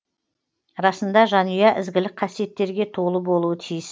расында жанұя ізгілік қасиеттерге толы болуы тиіс